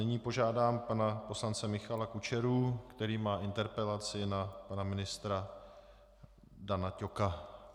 Nyní požádám pana poslance Michala Kučeru, který má interpelaci na pana ministra Dana Ťoka.